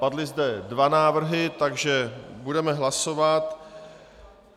Padly zde dva návrhy, takže budeme hlasovat.